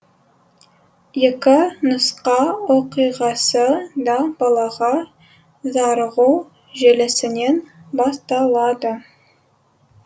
екі нұсқа оқиғасы да балаға зарығу желісінен басталады